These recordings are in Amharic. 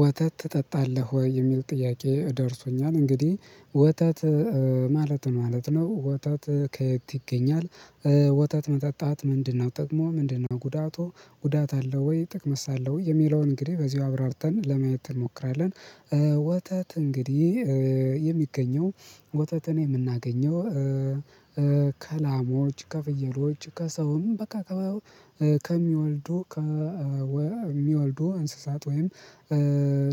ወተት ትጠጣለህ ወይ? የሚል ጥያቄ ደርሶኛል እንግዲህ ወተት ማለት ማለት ነው። ወተት ከየት ይገኛል ወተት መጠጣት ምንድነው ጥቅሙ ምንድነው? ጉዳቱ ጉዳት አለው ወይ ጥቅምስ አለው ወይ? የሚለውን እንግዲህ በዚሁ አብራርተን ለማየት እንሞክራለን። ወተት እንግዲህ የሚገኘው ወተትን የምናገኘው ከላሞች ከፍየሎች ከሰውም በቃ ከሚወልዱ ከሚወልዱ እንስሳት ወይም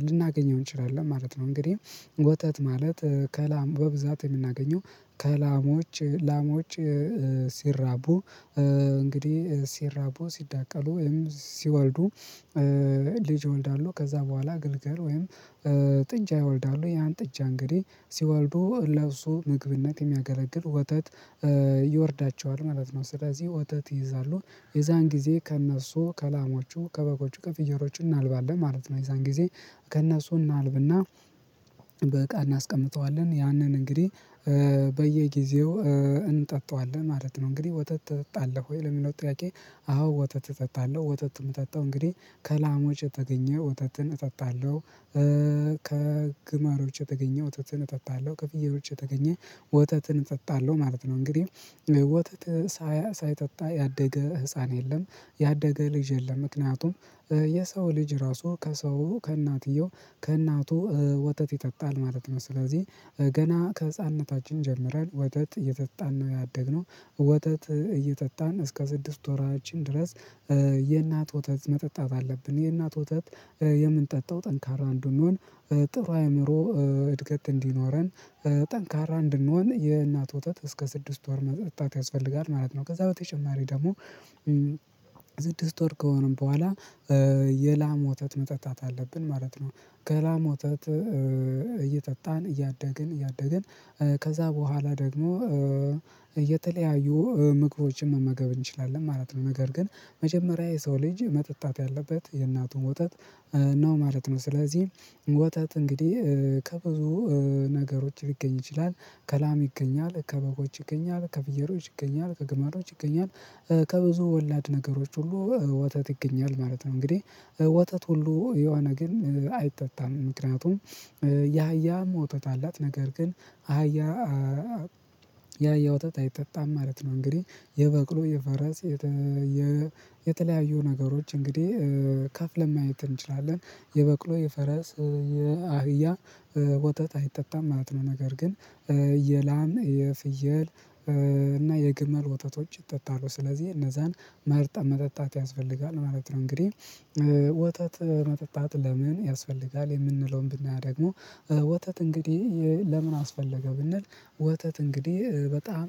ልናገኘው እንችላለን ማለት ነው። እንግዲህ ወተት ማለት ከላም በብዛት የምናገኘው ከላሞች ላሞች ሲራቡ እንግዲህ ሲራቡ ሲዳቀሉ ወይም ሲወልዱ ልጅ ይወልዳሉ ከዛ በኋላ ግልገል ወይም ጥጃ ይወልዳሉ ያን ጥጃ እንግዲህ ሲወልዱ ለእሱ ምግብነት የሚያገለግል ወተት ይወርዳቸዋል ማለት ነው። ስለዚህ ወተት ይይዛሉ የዛን ጊዜ ከእነሱ ከላሞቹ ከበጎቹ ከፍየሎቹ እናልባለን ማለት ነው የዛን ጊዜ ከእነሱ እናልብና በእቃ እናስቀምጠዋለን ያንን እንግዲህ በየጊዜው እንጠጣዋለን ማለት ነው። እንግዲህ ወተት ትጠጣለህ ወይ ለሚለው? ጥያቄ አዎ ወተት እጠጣለሁ ወተት የምጠጣው እንግዲህ ከላሞች የተገኘ ወተትን እጠጣለሁ። ከግመሎች የተገኘ ወተትን እጠጣለሁ ከፍየሎች የተገኘ ወተትን እጠጣለሁ ማለት ነው። እንግዲህ ወተት ሳይጠጣ ያደገ ህፃን የለም ያደገ ልጅ የለም። ምክንያቱም የሰው ልጅ ራሱ ከሰው ከእናትየው ከእናቱ ወተት ይጠጣል ማለት ነው። ስለዚህ ገና ከህፃንነታችን ጀምረን ወተት እየጠጣን ነው ያደግነው ወተት እየጠጣን እስከ ስድስት ወራችን ድረስ የእናት ወተት መጠጣት አለብን የእናት ወተት የምንጠጣው ጠንካራ እንድንሆን ጥሩ የአእምሮ እድገት እንዲኖረን ጠንካራ እንድንሆን የእናት ወተት እስከ ስድስት ወር መጥታት ያስፈልጋል ማለት ነው። ከዛ በተጨማሪ ደግሞ ስድስት ወር ከሆነም በኋላ የላም ወተት መጠጣት አለብን ማለት ነው። ከላም ወተት እየጠጣን እያደግን እያደግን ከዛ በኋላ ደግሞ የተለያዩ ምግቦችን መመገብ እንችላለን ማለት ነው። ነገር ግን መጀመሪያ የሰው ልጅ መጠጣት ያለበት የእናቱን ወተት ነው ማለት ነው። ስለዚህ ወተት እንግዲህ ከብዙ ነገሮች ሊገኝ ይችላል ከላም ይገኛል ከበጎች ይገኛል ከፍየሎች ይገኛል ከግመሎች ይገኛል ከብዙ ወላድ ነገሮች ሁሉ ወተት ይገኛል ማለት ነው። እንግዲህ ወተት ሁሉ የሆነ ግን አይጠጣም ምክንያቱም የአህያ ወተት አላት ነገር ግን አህያ የአህያ ወተት አይጠጣም ማለት ነው። እንግዲህ የበቅሎ የፈረስ የተለያዩ ነገሮች እንግዲህ ከፍ ለማየት እንችላለን የበቅሎ የፈረስ የአህያ ወተት አይጠጣም ማለት ነው። ነገር ግን የላም የፍየል እና የግመል ወተቶች ይጠጣሉ ስለዚህ እነዛን መርጠን መጠጣት ያስፈልጋል ማለት ነው። እንግዲህ ወተት መጠጣት ለምን ያስፈልጋል? የምንለውን ብናደርግ ወተት እንግዲህ ለምን አስፈለገ? ብንል ወተት እንግዲህ በጣም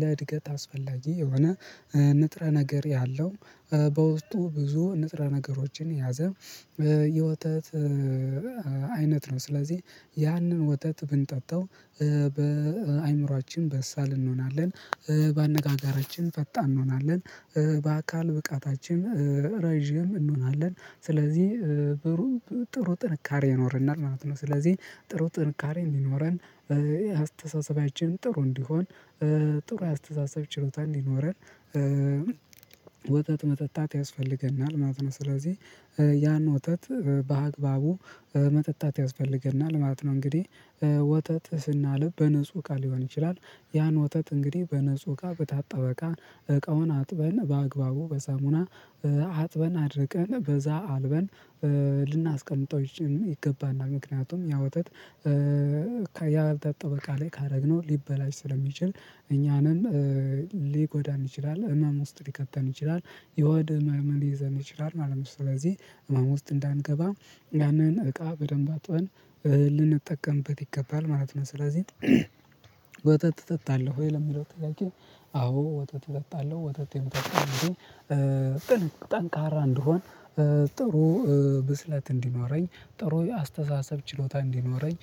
ለእድገት አስፈላጊ የሆነ ንጥረ ነገር ያለው በውስጡ ብዙ ንጥረ ነገሮችን የያዘ የወተት አይነት ነው ስለዚህ ያንን ወተት ብንጠጣው በአእምሮአችን በሳል እንሆናለን በአነጋጋራችን ፈጣን እንሆናለን በአካል ብቃታችን ረጅም እንሆናለን ስለዚህ ብሩህ ጥሩ ጥንካሬ ይኖረናል ማለት ነው። ስለዚህ ጥሩ ጥንካሬ እንዲኖረን አስተሳሰባችን ጥሩ እንዲሆን ጥሩ የአስተሳሰብ ችሎታ እንዲኖረን ወተት መጠጣት ያስፈልገናል ማለት ነው። ስለዚህ ያን ወተት በአግባቡ መጠጣት ያስፈልገናል ማለት ነው። እንግዲህ ወተት ስናልብ በንጹህ እቃ ሊሆን ይችላል ያን ወተት እንግዲህ በንጹህ እቃ በታጠበ እቃ እቃውን አጥበን በአግባቡ በሳሙና አጥበን አድርቀን በዛ አልበን ልናስቀምጠው ይገባል ምክንያቱም ያ ወተት ያልታጠበ እቃ ላይ ካደረግነው ሊበላሽ ስለሚችል እኛንም ሊጎዳን ይችላል ህመም ውስጥ ሊከተን ይችላል የሆድ ህመም ሊይዘን ይችላል ማለት ነው። ስለዚህ ህመምም ውስጥ እንዳንገባ ያንን እቃ በደንብ አጥበን ልንጠቀምበት ይገባል ማለት ነው። ስለዚህ ወተት ትጠጣለህ ወይ? ለሚለው ጥያቄ አዎ ወተት እጠጣለሁ ወተት የሚጠቅመኝ እንግዲህ ጠንካራ እንድሆን ጥሩ ብስለት እንዲኖረኝ ጥሩ የአስተሳሰብ ችሎታ እንዲኖረኝ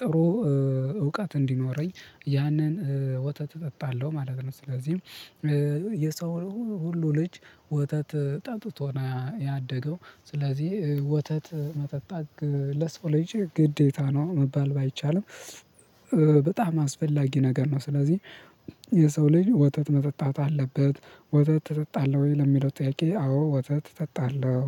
ጥሩ እውቀት እንዲኖረኝ ያንን ወተት እጠጣለሁ ማለት ነው። ስለዚህም የሰው ሁሉ ልጅ ወተት ጠጥቶ ነው ያደገው ስለዚህ ወተት መጠጣት ለሰው ልጅ ግዴታ ነው መባል ባይቻልም በጣም አስፈላጊ ነገር ነው። ስለዚህ የሰው ልጅ ወተት መጠጣት አለበት። ወተት እጠጣለሁ ወይ ለሚለው ጥያቄ? አዎ ወተት እጠጣለሁ።